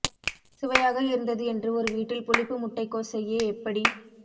சுவையாக இருந்தது என்று ஒரு வீட்டில் புளிப்பு முட்டைக்கோஸ் செய்ய எப்படி